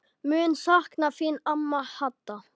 Mun sakna þín amma Hadda.